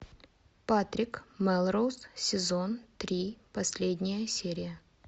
патрик мелроуз сезон три последняя серия